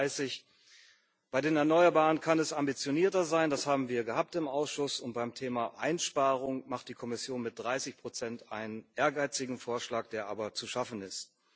2030. Bei den Erneuerbaren kann es ambitionierter sein, das haben wir im Ausschuss gehabt, und beim Thema Einsparung macht die Kommission mit 30 einen ehrgeizigen Vorschlag, der aber zu schaffen ist.